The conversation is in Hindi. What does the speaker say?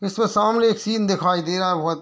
जिसमे सामने एक सीन दिखाई दे रहा है बहोत --